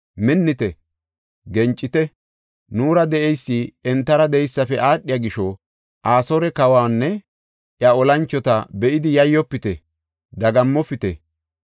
“Minnite; gencite; nuura de7eysi entara de7eysafe aadhiya gisho Asoore kawanne iya olanchota be7idi yayyofite, dagammopite.